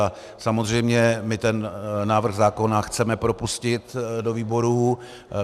A samozřejmě my ten návrh zákona chceme propustit do výborů.